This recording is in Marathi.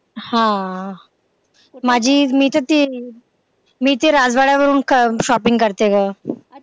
हा आह माझी मी तर ते मी ते राजवाड्यावरून shopping करते ग.